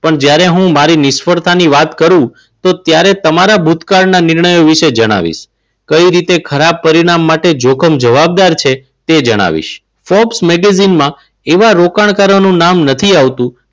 પણ જ્યારે હું મારી નિષ્ફળતાની વાત કરું તો ત્યારે તમારા ભૂતકાળના નિર્ણયો વિશે જણાવીશ. કઈ રીતે ખરાબ પરિણામ માટે જોકમ જવાબદાર છે તે જણાવીશ. magazine માં એવા રોકાણકારોનું નામ નથી આવતું.